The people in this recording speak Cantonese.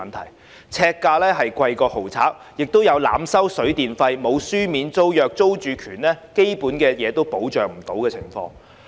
"劏房"呎價較豪宅更高，亦有濫收水電費、沒有書面租約及租住權基本未受保障的情況。